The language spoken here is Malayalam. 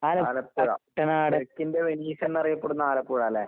ആലപ്പുഴ തെക്കിന്റെ വെനീസെന്നറിയപ്പെടുന്ന ആലപ്പുഴാല്ലേ?